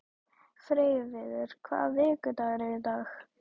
Freyviður, hvaða vikudagur er í dag?